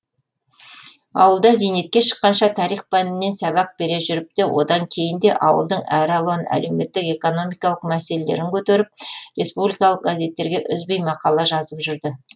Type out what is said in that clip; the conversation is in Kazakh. ауылда зейнетке шыққанша тарих пәнінен сабақ бере жүріп те одан кейін де ауылдың әралуан әлеуметтік экономикалық мәселелерін көтеріп республикалық газеттерге үзбей мақала жазып жүрді